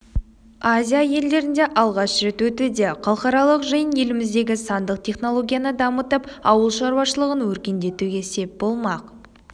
азия елдерінде алғаш рет өтуде халықаралық жиын еліміздегі сандық технологияны дамытып ауылшаруашылығын өркендетуге сеп болмақ